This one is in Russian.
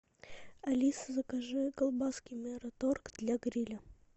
алиса закажи колбаски мираторг для гриля